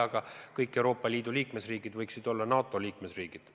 Aga kõik Euroopa Liidu liikmesriigid võiksid olla NATO liikmesriigid.